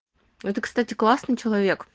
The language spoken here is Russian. это кстати классный человек